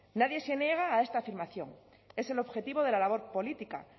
nadie se niega a esta afirmación es el objetivo de la labor política